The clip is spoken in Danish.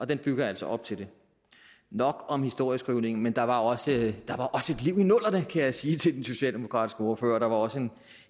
den bygger altså op til det nok om historieskrivningen men der var også et liv i nullerne kan jeg sige til den socialdemokratiske ordfører der var også